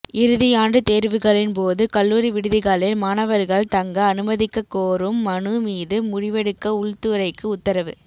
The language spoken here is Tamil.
இறுதியாண்டு தோ்வுகளின் போது கல்லூரி விடுதிகளில் மாணவா்கள் தங்க அனுமதிக்கக்கோரும் மனு மீது முடிவெடுக்க உள்துறைக்கு உத்தரவு